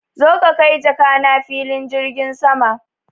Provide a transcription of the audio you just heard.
Zo ka kai jakana filin jirgin sama!